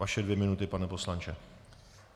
Vaše dvě minuty, pane poslanče.